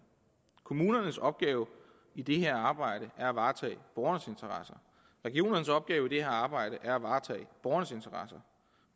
kommunernes opgave i det her arbejde er at varetage borgernes interesser regionernes opgave i det her arbejde er at varetage borgernes interesser